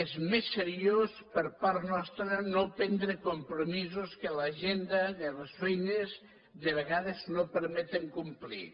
és més seriós per part nostra no prendre compromisos que l’agenda de les feines de vegades no permeten complir